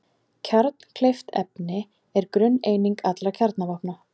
Kjarnkleyft efni er grunneining allra kjarnavopna.